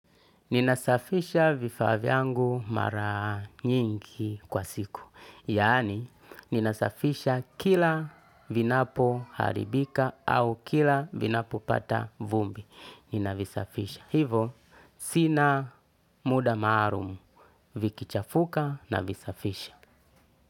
Ninasafisha vifaa vyangu mara nyingi kwa siku. Yani, ninasafisha kila vinapo haribika au kila vinapo pata vumbi. Ninavisafisha. Hivo, sina muda maarumu. Viki chafuka na visafisha.